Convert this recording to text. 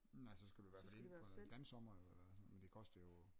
Nej så skal du i hvert fald ind på dansommer eller sådan men det koster jo